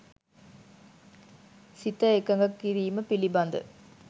සිත එකඟ කිරීම පිළිබඳ